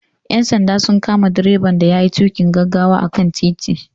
Ƴan sanda sun kama direban da yayi tuƙin gaggawa a kan titi.